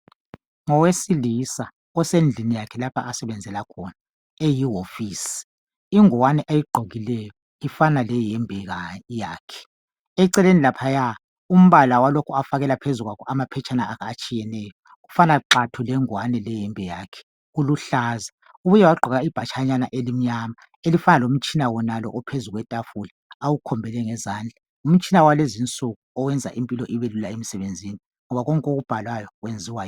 Ngowesilisa usendlini yakhe lapha asebenzela khona eyihofisi, ingowane ayigqokileyo ifana leyembe yakhe. Eceleni laphaya umbala walokhu afakela phezu kwakho amaphetshana atshiyeneyo ufana xathu lengwane leyembe yakhe kuluhlaza. Ubuye wagqoka ibhatshanyana elincane elifanana lomtshina wonalo ophezu kwetafula awukhombele ngezandla. Ngumtshina wakulezi insuku oyenza umsebebzi ubelula ngoba konke okubhalwayo kwenziwa yiwo.